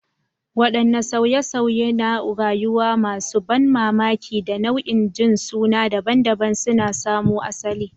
Wadanne sauye-sauye na rayuwa masu ban mamaki da nau'ikan jinsuna daban-daban suka samo asali?